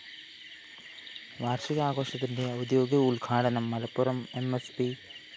വാര്‍ഷികാഘോഷത്തിന്റെ ഔദ്യോഗിക ഉദ്ഘാടനം Malappuram M S P